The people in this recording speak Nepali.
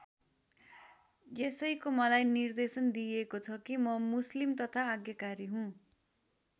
यसैको मलाई निर्देशन दिइएको छ कि म मुस्लिम तथा आज्ञाकारी हुँ।